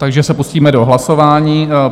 Takže se pustíme do hlasování.